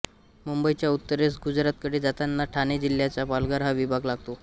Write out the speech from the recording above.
मुंबईच्या उत्तरेस गुजरातकडे जातांना ठाणे जिल्ह्याचा पालघर हा विभाग लागतो